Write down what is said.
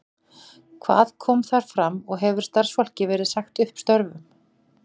Hvað kom þar fram og hefur starfsfólki verið sagt upp störfum?